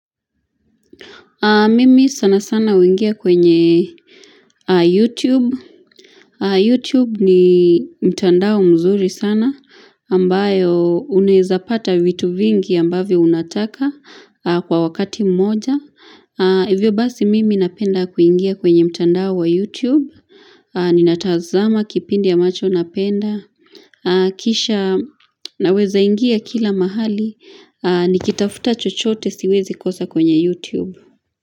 Mimi sana sana uingia kwenye YouTube. YouTube ni mtandao mzuri sana, ambayo unaeza pata vitu vingi ambavyo unataka kwa wakati mmoja. Hivyo basi mimi napenda kuingia kwenye mtandao wa YouTube. Ninatazama kipindi amacho napenda. Kisha naweza ingia kila mahali, nikitafuta chochote siwezi kosa kwenye YouTube.